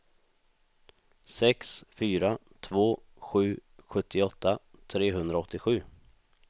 sex fyra två sju sjuttioåtta trehundraåttiosju